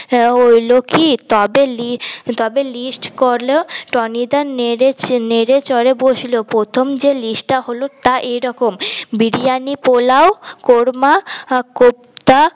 হইল কি তবে লি তবে লিস্ট করল টনি দা নেড়ে নেড়ে চড়ে বসলো প্রথম যে লিস্ট টা হল তা এরকম বিরিয়ানি পোলাও কোরমা কোপ্তা আর